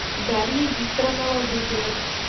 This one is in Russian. дарья викторовна ладыгина